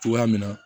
Cogoya min na